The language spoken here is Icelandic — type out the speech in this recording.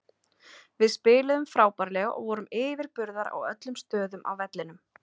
Við spiluðum frábærlega og vorum yfirburðar á öllum stöðum á vellinum.